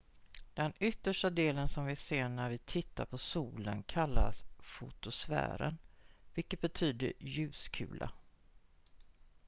"den yttersta delen som vi ser när vi tittar på solen kallas fotosfären vilket betyder "ljuskula"".